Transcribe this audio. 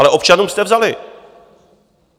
Ale občanům jste vzali.